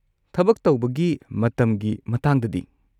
ꯊꯕꯛ ꯇꯧꯕꯒꯤ ꯃꯇꯝꯒꯤ ꯃꯇꯥꯡꯗꯗꯤ?